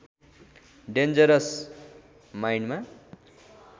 dangerous माइण्डमा